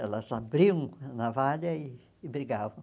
Elas abriam a navalha e brigavam.